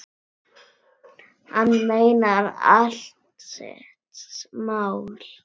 Hann meinar allt sitt mál.